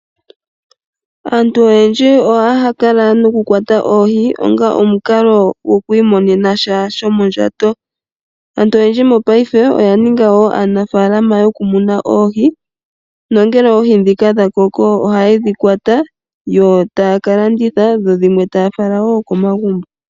Aantu oyendji ohaya kala nokukwata oohi onga omukalo goku imonena sha sho mondjato. Aantu oyendji mopaife oya ninga wo aanafalama yokumuna oohi, nongele oohi dhika dha koko ohaye dhi kwata yo taya ka landitha, yo dhimwe taya fala wo komagumbo.